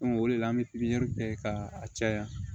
o de la an bɛ pipiniyɛri kɛ ka caya